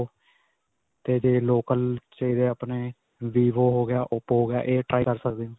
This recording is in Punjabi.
'ਤੇ ਜੇ local ਚਾਹੀਦਾ ਆਪਣੇ, vivo ਹੋ ਗਿਆ, oppo ਹੋ ਗਿਆ. ਇਹ try ਕਰ ਸਕਦੇ ਹੋ.